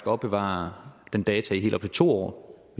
at opbevare det data i helt op til to år